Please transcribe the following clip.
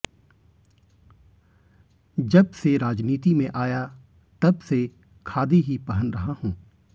जब से राजनीति में आया तब से खादी ही पहन रहा हूं